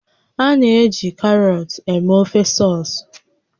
A na-eji karọt eme ofe sọs